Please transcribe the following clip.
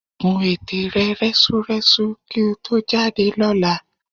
Kún ète rẹ rẹ́súrẹ́sú kí o tó jáde lọ́la